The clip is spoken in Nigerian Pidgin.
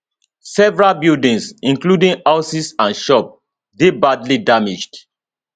several buildings including houses and shops dey badly damaged